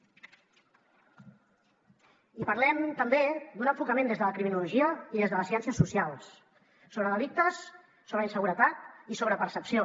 i parlem també d’un enfocament des de la criminologia i des de les ciències socials sobre delictes sobre inseguretat i sobre percepció